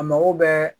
A mago bɛɛ